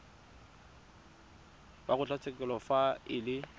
wa kgotlatshekelo fa e le